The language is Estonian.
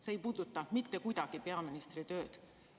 See ei puuduta mitte kuidagi peaministri tööd.